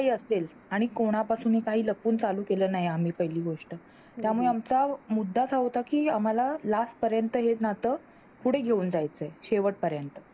जे काही असेल आणि कोणापासूनही काही लपून चालू केल नाही आम्ही पहिली गोष्ट त्यामुळे आमचा मुद्दाच होता कि आम्हाला Last पर्यंत हे ना तं पुढे घेऊन जायचे शेवट पर्यंत